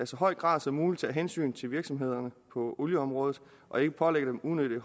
så høj grad som muligt tager hensyn til virksomhederne på olieområdet og ikke pålægger dem unødig